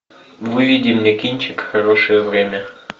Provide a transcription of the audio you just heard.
выведи мне кинчик хорошее время